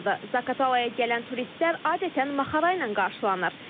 Zaqatalaya gələn turistlər adətən maxara ilə qarşılanır.